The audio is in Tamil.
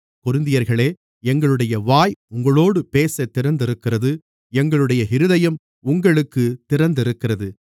கொரிந்தியர்களே எங்களுடைய வாய் உங்களோடு பேசத் திறந்திருக்கிறது எங்களுடைய இருதயம் உங்களுக்குத் திறந்திருக்கிறது